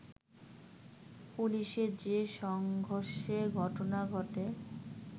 পুলিশের যে সংঘর্ষের ঘটনা ঘটে